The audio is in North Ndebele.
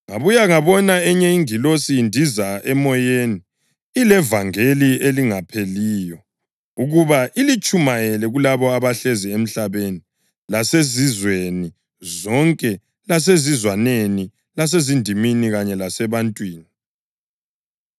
Ngabuya ngabona enye ingilosi indiza emoyeni ilevangeli elingapheliyo ukuba ilitshumayele kulabo abahlezi emhlabeni lasezizweni zonke lasezizwaneni lasezindimini kanye lasebantwini.